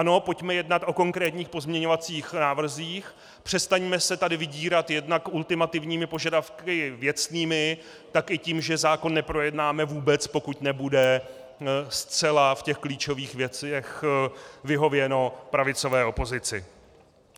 Ano, pojďme jednat o konkrétních pozměňovacích návrzích, přestaňme se tady vydírat jednak ultimativními požadavky věcnými, tak i tím, že zákon neprojednáme vůbec, pokud nebude zcela v těch klíčových věcech vyhověno pravicové opozici.